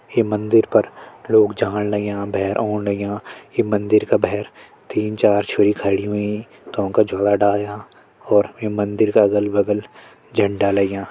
ये मंदिर पर लोग जाण लग्यां भैर औण लग्यां ये मंदिर का भैर तीन-चार छोरी खड़ी हुईं तौंका झोला डाल्यां और यु मंदिर का अगल-बगल झंडा लग्यां।